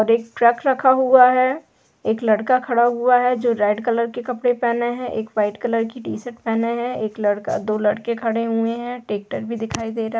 --और एक ट्रक रखा हुआ है एक लड़का खड़ा हुआ है जो रेड कलर के कपड़े पहने है एक व्हाइट कलर की टी-शर्ट पहने है एक लड़का दो लड़के खड़े हुए है ट्रेक्टर भी दिखाई दे रहा है।